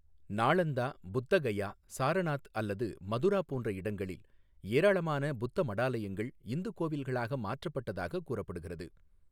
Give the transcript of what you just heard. நாளந்தா, புத்தகயா, சாரநாத் அல்லது மதுரா போன்ற இடங்களில் ஏராளமான புத்த மடாலயங்கள் இந்து கோவில்களாக மாற்றப்பட்டதாகக் கூறப்படுகிறது.